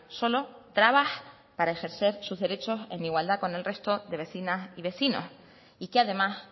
solo trabas para ejercer sus derechos en igualdad con el resto de vecinas y vecinos y que además